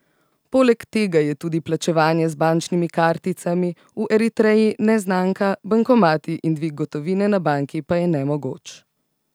Poleg tega je tudi plačevanje z bančnimi karticami v Eritreji neznanka, bankomati in dvig gotovine na banki pa je nemogoč.